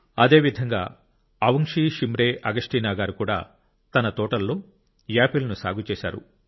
అదేవిధంగా అవుంగ్షీ షిమ్రే అగస్టినా గారు కూడా తన తోటలలో యాపిల్ ను సాగు చేశారు